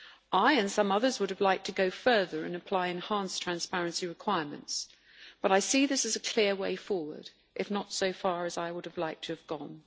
I and some others would have liked to go further and apply enhanced transparency requirements, but I see this as a clear way forward, albeit not as far as I would have liked to have gone.